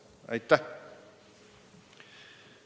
Aitäh!